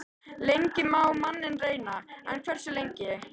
Lengi má manninn reyna- en hversu lengi?